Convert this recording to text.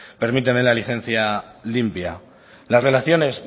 permítanme la licencia limpia las relaciones